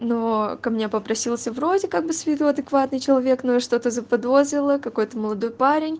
но ко мне попросился вроде как бы с виду адекватный человек но я что-то заподозрила какой-то молодой парень